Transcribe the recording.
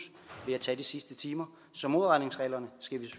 ved at tage de sidste timer så modregningsreglerne skal vi